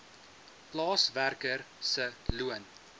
plaaswerker se loon